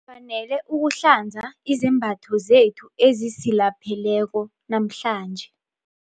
Ngifanele ukuhlanza izembatho zethu ezisilapheleko namhlanje.